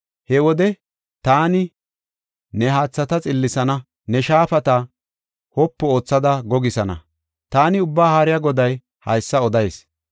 He wode taani ne haathata xillisana; ne shaafata wopu oothada gogisana. Taani Ubbaa Haariya Goday haysa odayis.